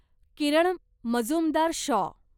Kiran Mazumdar Shaw